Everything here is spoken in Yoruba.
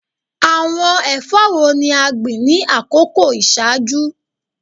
Awọn ẹfọ wo ni a gbin ni akoko iṣaaju?